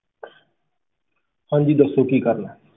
ਹਾਂਜੀ ਦੱਸੋ ਕੀ ਕਰਨਾ ਹੈ।